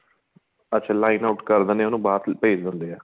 ਅੱਛਾ lineout ਕਰ ਦਿੰਦੇ ਏ ਉਹਨੂੰ ਬਾਹਰ ਭੇਜ ਦਿੰਦੇ ਏ